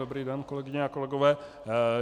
Dobrý den, kolegyně a kolegové.